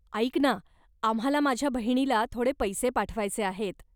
ऐक ना, आम्हाला माझ्या बहिणीला थोडे पैसे पाठवायचे आहेत.